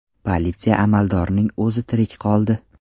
Politsiya amaldorining o‘zi tirik qoldi.